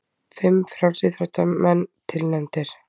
Fimm frjálsíþróttamenn tilnefndir